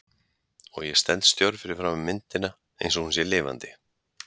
Og ég stend stjörf fyrir framan myndina einsog hún sé lifandi.